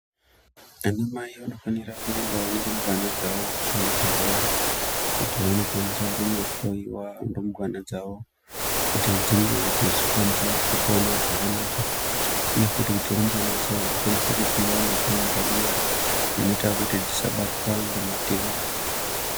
Anamai vanofanira kuenda nerumbwana dzavo kuzvibhedhlera kuti vandokwanisa kuhloiwa rumbwana dzavo kuti dzinge dzechikwanisa kupona zvakanaka, uye futi rumbwana dzawo dzikwanise kupuwa mitombo yekuti dzisabatwa ngematenda.